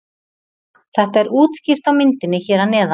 Þetta er útskýrt á myndinni hér að neðan.